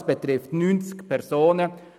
Das betrifft 90 Personen.